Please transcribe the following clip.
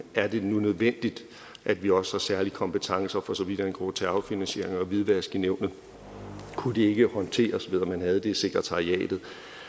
er det nu nødvendigt at vi også har særlige kompetencer for så vidt angår terrorfinansiering og hvidvask i nævnet kunne det ikke håndteres ved at man havde det i sekretariatet